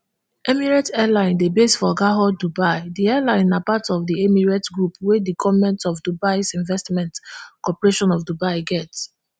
emirates airline dey base for garhoud dubai di airline na part of di emirates group wey di goment of dubaisinvestment corporation of dubai get